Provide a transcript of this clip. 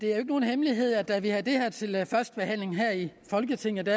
det er jo ikke nogen hemmelighed at da vi havde det her til første behandling i folketinget